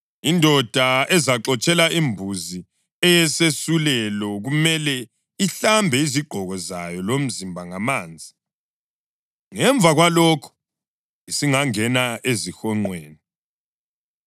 Indoda ezaxotshela imbuzi eyisesulelo kumele ihlambe izigqoko zayo lomzimba ngamanzi; ngemva kwalokho isingangena ezihonqweni.